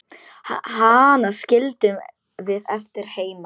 Hana skildum við eftir heima.